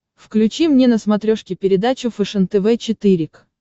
включи мне на смотрешке передачу фэшен тв четыре к